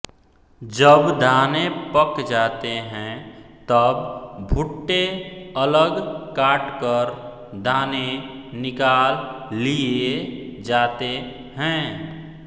जब दाने पक जाते हैं तब भुट्टे अलग काटकर दाने निकाल लिए जाते हैं